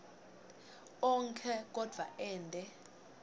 onkhe kodvwa ente